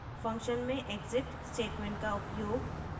function में exit statement का उपयोग